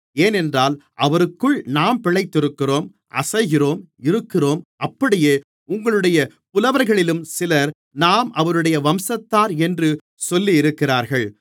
ஏனென்றால் அவருக்குள் நாம் பிழைக்கிறோம் அசைகிறோம் இருக்கிறோம் அப்படியே உங்களுடைய புலவர்களிலும் சிலர் நாம் அவருடைய வம்சத்தார் என்று சொல்லியிருக்கிறார்கள்